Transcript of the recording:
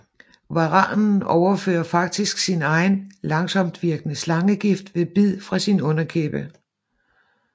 Varanen overfører faktisk sin egen langsomtvirkende slangegift ved bid fra sin underkæbe